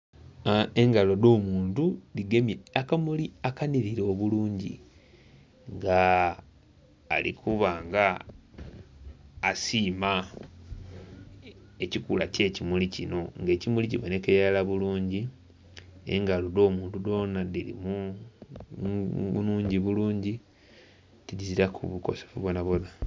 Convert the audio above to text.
Engalo edho omuntu dhigemye akamuli akanhirira obulungi nga ali kuba nga asiima ekikula ekye kimuli kino nga ekimuli kibonekera irala bulungi engalo edh'omuntu dhona nnhingi bulungi tidhiziraku bukosefu bwoona bwoona.